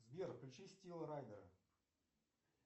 сбер включи стила райдера